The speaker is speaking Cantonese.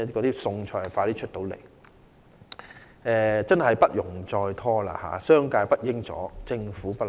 對於此事，政府真的不容再拖，而商界亦不應阻撓。